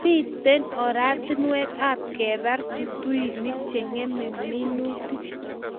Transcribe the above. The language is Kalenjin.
Mito oratinwek ab kebar tutuinik che ngemei minutik